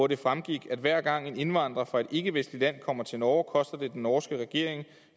det fremgik at hver gang en indvandrer fra et ikkevestligt land kommer til norge koster det den norske regering